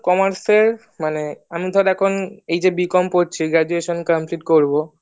Commerce এর মানে আমি ধর এখন এই যে B.com পড়ছি graduation complete করবো